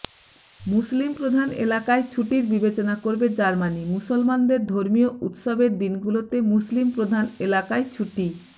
মুসলিমপ্রধান এলাকায় ছুটির বিবেচনা করবে জার্মানি মুসলমানদের ধর্মীয় উৎসবের দিনগুলোতে মুসলিমপ্রধান এলাকায় ছুটি